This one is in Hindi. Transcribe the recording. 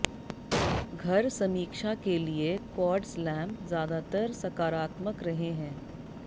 घर समीक्षा के लिए क्वार्ट्ज लैंप ज्यादातर सकारात्मक रहे हैं